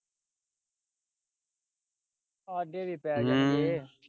ਹਮ ਪੈ ਜਾਣਗੇ।